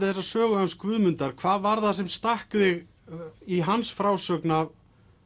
þessa sögu hans Guðmundar hvað var það sem stakk þig í hans frásögn af